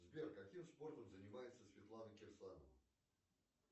сбер каким спортом занимается светлана кирсанова